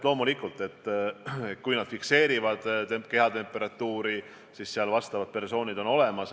Need fikseerivad kehatemperatuuri ja nende juures on vastavad persoonid olemas.